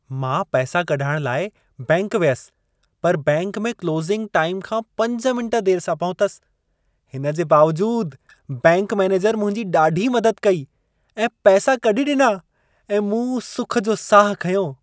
मां पैसा कढाइणु लाइ बैंक वियसि पर बैंक में क्लोसिंग टाइम खां 5 मिंट देरि सां पहुतसि। हिन जे बावजूदु बैंक मैनेजर मुंहिंजी ॾाढी मदद कई ऐं पैसा कढी ॾिना ऐं मूं सुख जो साह खंयो।